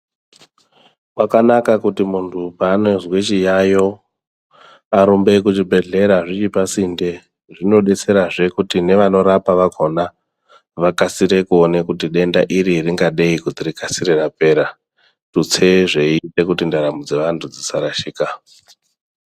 Kwakanaka kuti muntu paanozwe chiyayo arumbe kuzvibhedhlera zviri pasinde. Zvinodetserazve kuti nevanorapa vakona vakasire kuone kuti denda iri ringadei kuti rikasire rapera, Tutse zveiite kuti ndaramo dzevantu dzisarashika.